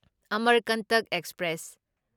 Amarkantak express